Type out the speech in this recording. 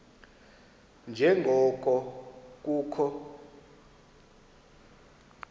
nje ngoko kukho